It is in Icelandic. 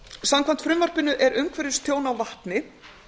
samkvæmt frumvarpinu er umhverfistjón á vatni